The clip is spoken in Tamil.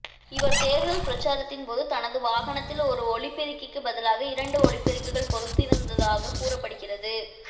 இவர் தேர்தல் பிரச்சாரத்தின் போது தனது வாகனத்தில் ஒரு ஒலிபெருக்கிக்கு பதிலாக இரண்டு ஒலிபெருக்கிகள் பொருத்தியிருந்ததாக கூறப்படுகிறது